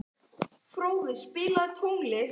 Fróði, spilaðu tónlist.